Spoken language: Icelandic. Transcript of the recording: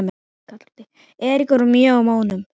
Eiríkur var mjótt á munum?